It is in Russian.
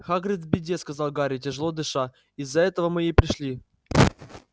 хагрид в беде сказал гарри тяжело дыша из-за этого мы и пришли